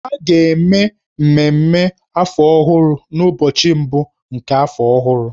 A ga-eme mmemme afọ ọhụrụ n'ụbọchị mbụ nke afọ ọhụrụ.